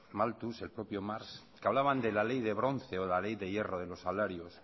malthus el propio marx que hablaban de la ley de bronce o de la ley de hierro de los salarios